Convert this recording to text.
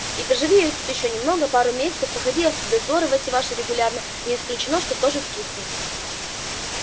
и поживи я тут ещё немного пару месяцев походи в дозоры эти ваши регулярно не исключено что тоже скисну